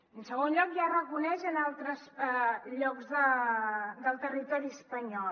en segon lloc ja es reconeix en altres llocs del territori espanyol